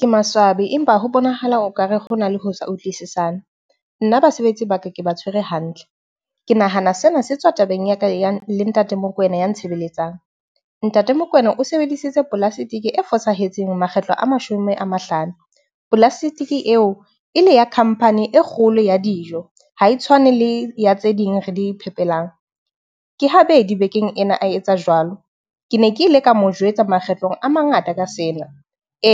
Ke maswabi, empa ho bonahala o ka re ho na le ho sa utlwisisane. Nna basebetsi ba ka ke ba tshwere hantle. Ke nahana sena se tswa tabeng ya ka ya le ntate Mokoena ya ntshebeletsang. Ntate Mokoena o sebedisitse polasitiki e fosahetseng makgetlo a mashome a mahlano. Polastiki eo, e le ya khampani e kgolo ya dijo ha e tshwane le ya tse ding re di iphetelang. Ke habedi bekeng ena a etsa jwalo. Ke ne ke ile ka mo jwetsa makgetlo a mangata ka sena